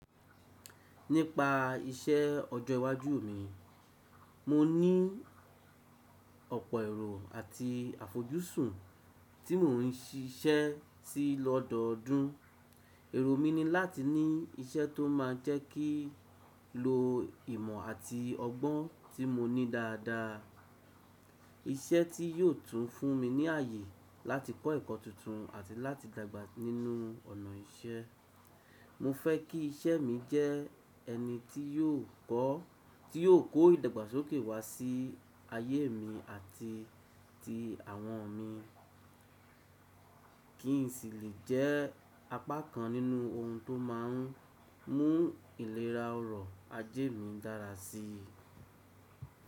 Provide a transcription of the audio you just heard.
Nípa iṣẹ́ ọjọ́ iwájú mi, mo ní ọ̀pọ̀ èrò àti àfojúsùn tí mò ń siṣẹ́ si lọ́dọọdún. Èrò mi ni láti ní iṣẹ́ tó máa jẹ́ kí ń lo ìmọ̀ àti ọgbọ́n tí mo ní dáadáa. Iṣẹ́ tí yóò tún fún mi ní ààyè láti kọ́ ẹ̀kọ́ tuntun àti láti dàgbà nínú ọ̀nà iṣẹ́. Mo fẹ́ kí iṣẹ́ mi jẹ́ ẹni tí yóò kó ìdàgbàsókè wá sí ayé mi àti ti àwọn mi. Kí n si le jẹ́ apá kan nínú ohun tó máa ń mú ìlera ọrọ̀ ajé mi dára síi.